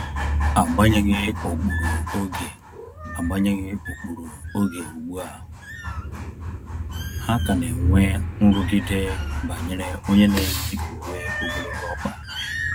Agbanyeghi ụkpụrụ oge Agbanyeghi ụkpụrụ oge ugbua, ha ka na enwe nrụgide banyere onye n'eyi uwe ogologo ọkpa